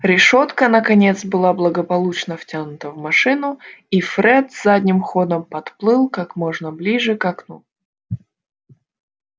решётка наконец была благополучно втянута в машину и фред задним ходом подплыл как можно ближе к окну